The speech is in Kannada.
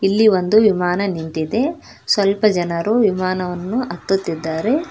ಇಲ್ಲಿ ಒಂದು ವಿಮಾನ ನಿಂತಿದೆ ಸ್ವಲ್ಪ ಜನರು ವಿಮಾನವನ್ನು ಹತ್ತುತಿದ್ದಾರೆ.